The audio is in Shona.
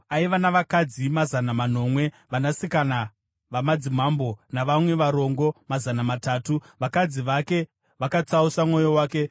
Aiva navakadzi mazana manomwe, vanasikana vamadzimambo, navamwe varongo mazana matatu; vakadzi vake vakatsausa mwoyo wake.